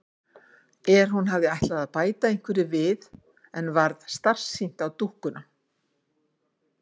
Er. hún hafði ætlað að bæta einhverju við en varð starsýnt á dúkkuna.